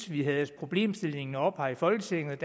vi havde problemstillingen oppe her i folketinget